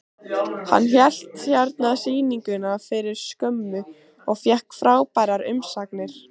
Hann hélt hérna sýningu fyrir skömmu og fékk frábærar umsagnir.